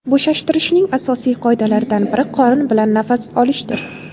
Bo‘shashtirishning asosiy qoidalaridan biri qorin bilan nafas olishdir.